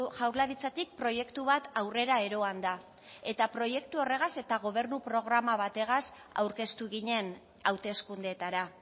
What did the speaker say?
jaurlaritzatik proiektu bat aurrera eroan da eta proiektu horregaz eta gobernu programa bategaz aurkeztu ginen hauteskundeetara